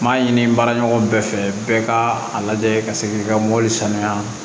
N m'a ɲini n baara ɲɔgɔn bɛɛ fɛ bɛɛ ka a lajɛ ka se k'i ka mobili sanuya